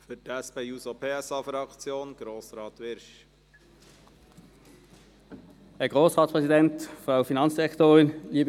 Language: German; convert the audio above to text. Für die SP-JUSO-PSA-Fraktion hat Grossrat Wyrsch das Wort.